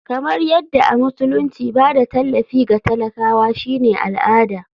Kamar yadda a musulunci ba da tallafi ga talakawa shine al'ada.